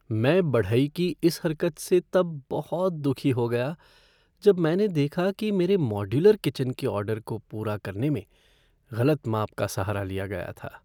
मैं बढ़ई की इस हरकत से तब बहुत दुखी हो गया जब मैंने देखा कि मेरे मॉड्यूलर किचन के ऑर्डर को पूरा करने में गलत माप का सहारा लिया गया था।